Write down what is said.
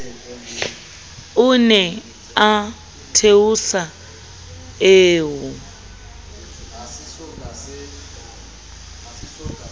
o ne o theosa eo